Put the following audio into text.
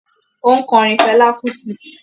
Ó ń kọrin Fela Kuti